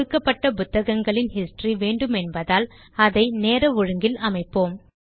கொடுக்கப்பட்ட புத்தகங்களின் ஹிஸ்டரி வேண்டுமென்பதால் அதை நேர ஒழுங்கில் அமைப்போம்